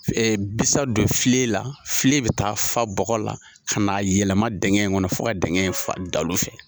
Ɛɛ bisan don filen la, filen bi taa fa bɔgɔ la ka na yɛlɛma dɛngɛ in kɔnɔ fo ka dɛngɛ in fa dalu fɛ.